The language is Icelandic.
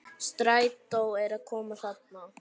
Strætó er að koma þarna!